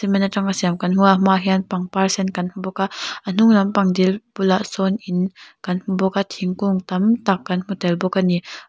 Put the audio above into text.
cement atanga siam kan hmu a a hmaah pangpar sen kan hmu bawk a a hnung lamah dil bulah sawn in kan hmu bawk a thingkung tam tak kan hmu tel bawk ani.